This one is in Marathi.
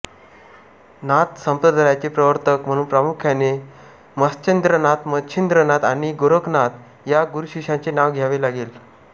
नाथ संप्रदायाचे प्रवर्तक म्हणून प्रामुख्याने मत्स्येन्द्रनाथ मच्छिन्द्रनाथ आणि गोरक्षनाथ या गुरुशिष्यांचे नाव घ्यावे लागेल